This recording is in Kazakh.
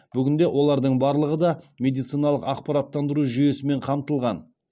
бүгінде олардың барлығы да медициналық ақпараттандыру жүйесімен қамтылған